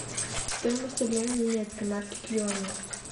стоимость обмена немецкой марки к юаню